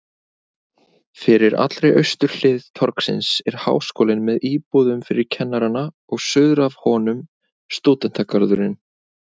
Fyrir allri austurhlið torgsins er Háskólinn með íbúðum fyrir kennarana og suður af honum stúdentagarðurinn.